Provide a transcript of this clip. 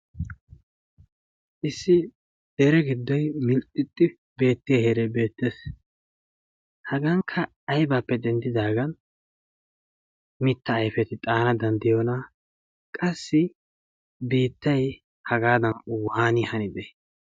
issi dere giddon mintti beettiya heeray beettees. hagankka aybaappe denddidaagan mitta ayfeti danddiyoona qassi biittay hagaadan ubaani hanite.